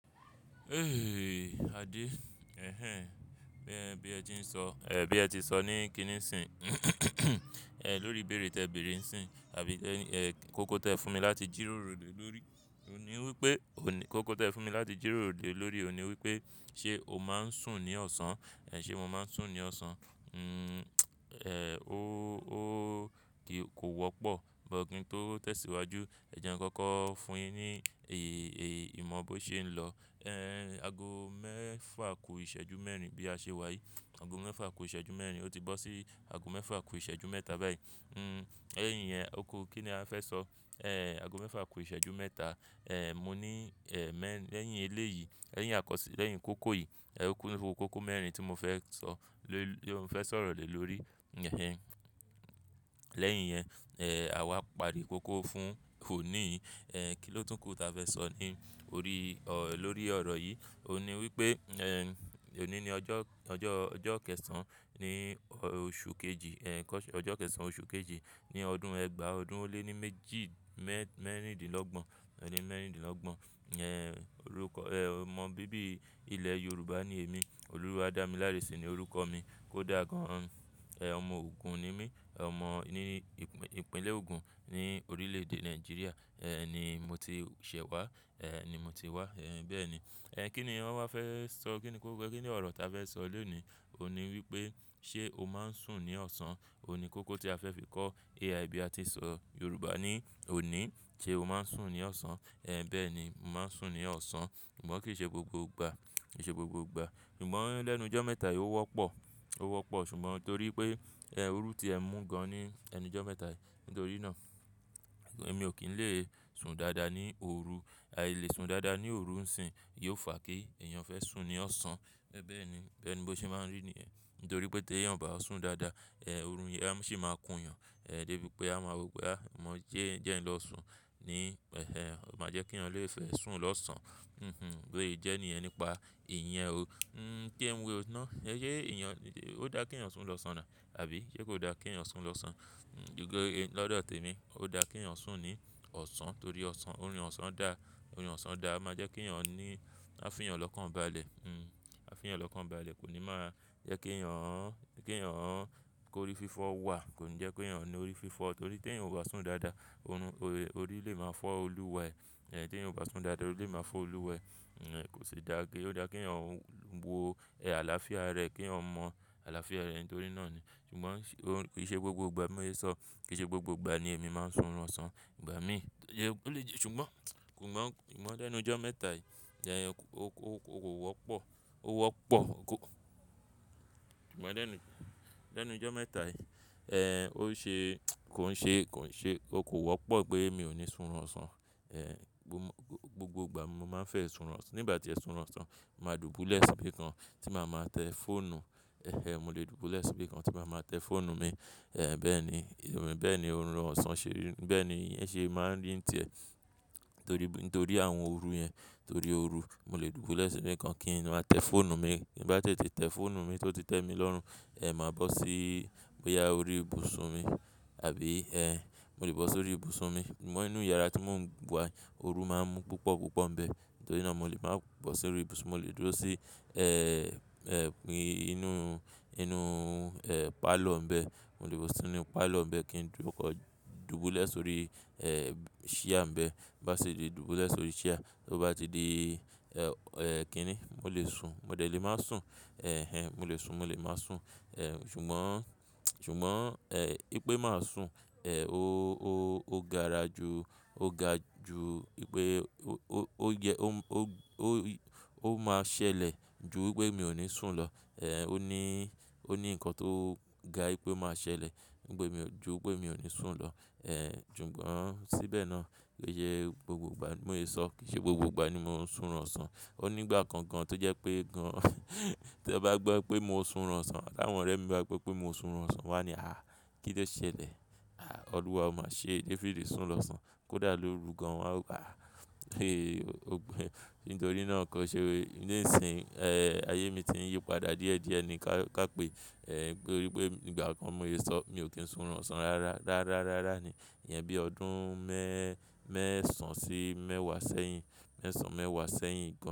Eh Ade, eh eh, bí ẹ ti sọ ní kíní sìn lórí ìbéèrè tí ẹ bèèrè ń sìn àbí kókó tí ẹ fún mi láti jírórò lè lórí, òní wípé, kókó tí ẹ fún mi láti jírórò lè lórí, òní wípé ṣe o máa ń sùn ní ọ̀sán? Ẹ̀ ṣe mo máa ń sùn ní ọ̀sán? Nn, eh, ó kò wọ́pọ̀, bí kin tó tẹ̀síwájú, ẹ jẹ́ nkọ́kọ́ fún mi ní èyí, èyí, ìmọ̀ bó ṣe ń lọ. Eh, ago mẹ́fà kú ìṣẹ́jú mẹ́rin bí a ṣe wà yìí, ago mẹ́fà kú ìṣẹ́jú mẹ́rin, ó ti bọ́ sí ago mẹ́fà kú ìṣẹ́jú mẹ́ta báyìí. Nn, lẹ́yìn yẹn, oku kí ni a fẹ́ sọ? Eh, ago mẹ́fà kú ìṣẹ́jú mẹ́ta, eh, mo ní, eh, mẹ́, lẹ́yìn eléyìí, lẹ́yìn àkọ́sí, lẹ́yìn kókó yìí, eh, kókó mẹ́rin tí mo fẹ́ sọ, ló ń fẹ́ sọ̀rọ̀ lè lórí. Eh eh. Lẹ́yìn yẹn, eh, àwa pari kókó fún òní yìí. Eh, kí ló tún kù ta fẹ́ sọ ní orí, lórí ọ̀rọ̀ yìí? Òní wípé, eh, ení ni ọjọ́, ọjọ́, ọjọ́ kẹsàn án ní oṣù kejì, eh, ọjọ́ kẹsàn án oṣù kejì ní ọdún ẹgbàá ọdún ó lé ní méjì mẹ́rìndínlọ́gbọ̀n, ẹ̀dín mẹ́rìndínlọ́gbọ̀n. Eh, orúkọ, eh, ọmọ bíbí ilẹ̀ Yorùbá ni èmi, Olúwadámilárè sí ni orúkọ mi. Kódà gan an, eh, ọmọ Ògùn ni mí. Ọmọ ní ìpínlẹ̀ Ògùn ní orílẹ̀ èdè Nàìjíríà. Eh, ni mo ti ṣẹ̀ wá, eh, ni mo ti wá, eh, bẹ́ẹ̀ ni. Eh, kí ni ọ̀ wa fẹ́ sọ, kí ni kókó, kí ni ọ̀rọ̀ ta fẹ́ sọ lónìí? Òní wípé ṣe o máa ń sùn ní ọ̀sán? Òní kókó tí a fẹ́ fi kọ́ AI bí a ti ṣọ Yorùbá ni òní. Ṣe o máa ń sùn ní ọ̀sán? Eh, bẹ́ẹ̀ ni, mo máa ń sùn ní ọ̀sán. Ṣùgbọ́n kì í ṣe gbogbo ìgbà, kì í ṣe gbogbo ìgbà. Ṣùgbọ́n lẹ́nu ijọ́ mẹ́ta yìí ó wọ́pọ̀, ó wọ́pọ̀ ṣùgbọ́n torí pé, eh, òru tí ẹ mú gan-an ní ẹnu ijọ́ mẹ́ta yìí. Nítorí náà èmi ò kí ń lè sùn dáadáa ní òru. A lè sùn dáadáa ní òru ń sìn, yóò fà kí èèyàn fẹ́ sùn ní ọ̀sán. Bẹ́ẹ̀ ni, bẹ́ẹ̀ ni bó ṣe máa ń rí ní yẹ̀n. Nítorí pé tí èèyàn ò bá sùn dáadáa, eh, òru yẹn sì máa kun yàn, eh, débi pé a máa wí pé a mọ jẹ́ ń lọ sùn ní, ẹhẹ, má jẹ́ kí èèyàn lè fẹ́ sùn lọ́sàn-án. Hm hm. Bi o jẹ́ ní ẹ ni pa ìyẹn o. Nn, je ń wo o ná. Ṣé èèyàn, ó dáa kí èèyàn sùn lọ́sàn-án àbí ṣe kò dáa kí èèyàn sùn lọ́sàn-án? Nn, pe, lọ́dọ̀ tèmi, ó dáa kí èèyàn sùn ní ọ̀sán torí ọ̀sán, orun ọ̀sán da, orun ọ̀sán dáa máa jẹ́ kí èèyàn ní, á fi èèyàn lọ́kàn bá àlẹ̀. Hm. A fi ẹ̀yàn lọ́kàn bá àlẹ̀ kò ní máa jẹ́ kí èèyàn, kí èèyàn kó orí fífọ́ wà. Kò ní jẹ́ kí èèyàn ní orí fífọ́ torí tí èèyàn ò bá sùn dáadáa, òru, orí lè máa fọ́ olúwẹ. Eh, tí èèyàn ò bá sùn dáadáa, orí lè máa fọ́ olúwẹ. Eh, kò sì dáa gé. Ó dáa kí èèyàn wo, ẹ àlàáfíà rẹ̀ kí èèyàn mọ àlàáfíà rẹ̀ nítorí náà ni. Ṣùgbọ́n kì í ṣe gbogbo ìgbà mo lè sọ, kì í ṣe gbogbo ìgbà ni èmi máa ń sùn lọ́sàn-án. Ìgbà míì, ṣùgbọ́n, ṣùgbọ́n lẹ́nu ijọ́ mẹ́ta yìí, ẹ́ ẹ, ó ku wọ́pọ̀, ó wọ́pọ̀. Ṣùgbọ́n lẹ́nu, lẹ́nu ijọ́ mẹ́ta yìí, eh, ó ṣe, kò ń ṣe, kò ń ṣe, ó kò wọ́pọ̀ pé èmi ò ní sùn lọ́sàn-án. Eh, gbogbo ìgbà mo máa ń fẹ́ sùn lọ́, nígbà tí èmi ó sùn lọ́sàn-án, màá dùbúlẹ̀ síbí kan tí màá máa tẹ fọ́ọ̀nù. Eh ẹ, mo lè dùbúlẹ̀ síbí kan tí màá máa tẹ fọ́ọ̀nù mi. Eh, bẹ́ẹ̀ ni, bẹ́ẹ̀ ni orun ọ̀sán ṣe rí, bẹ́ẹ̀ ni iyẹn ṣe máa ń rí ń tẹ. Nítorí, nítorí àwọn òru yẹn, nítorí òru, mo lè dùbúlẹ̀ síbí kan kíni máa tẹ fọ́ọ̀nù mi. Bí bá tètè tẹ fọ́ọ̀nù mi tó ti tẹ́ mi lọ́run, eh, màá bọ́ sí bóyá orí ibùsùn mi àbí, eh, mo lè bọ́ sórí ibùsùn mi. Ṣùgbọ́n inú yàrá tí mò ń wà, òru máa ń mú púpọ̀ púpọ̀ ń bẹ. Nítorí náà mo lè máa bọ́ sórí ibùsùn, mo lè dúró sí, eh, eh, inú, inú, eh, pálọ̀ ń bẹ. Mo lè bọ́ sínú pálọ̀ ń bẹ kí n dùbúlẹ̀ sórí, eh, ṣíà ń bẹ. Bá sì le dùbúlẹ̀ sórí ṣíà. To ó bá ti di, eh, eh, kíni? Mo lè sùn. Mo lè lè máa sùn. Eh ẹ, mo lè sùn, mo lè máa sùn. Eh, ṣùgbọ́n, ṣùgbọ́n, eh, ì pé màá sùn, eh, ó, ó, ó gaara ju, ó ga ju ì pé ó, ó yẹ, ó, ó, ó máa ṣẹlẹ̀ ju wipé mi ò ní sùn lọ. Eh, ó ní, ó ní nǹkan tó ga ì pé máa ṣẹlẹ̀ ju wipé mi ò ní sùn lọ. Eh, ṣùgbọ́n síbẹ̀ náà, ki sẹ gbogbo ìgbà mo lè sọ, kì í ṣe gbogbo ìgbà ni mò ń sùn ọ́sàn-án. Ó nígbà kan gan-an tó jẹ́ pé gan, tí won bá gbọ́ pé mo sùn ọ́sàn-án, ti àwọn ọ̀rẹ́ mi bá gbọ́ pé mo sùn ọ́sàn-án, wọ́n á ní, "àh! Kí ló ṣẹlẹ̀? Àh! Olúwa o máa ṣe, David sùn lọ́sàn-án. Kódà lóru gan-an." Wọn á wí, "àh! Ó "Nítorí náà kó ṣe. Nísìń, eh, ayé mi ti ń yípadà díẹ̀díẹ̀ ni ká, ká pé, eh, pé ó rí pé nígbà kan mo lè sọ mi ò kí ń sùn lọ́sàn-án rárá. Rárá rárá ni. Iyẹn bí ọdún mẹ́, mẹ́sàn-án sí mẹ́wàá sẹ́yìn. Mẹ́sàn-án mẹ́wàá sẹ́yìn gan-an.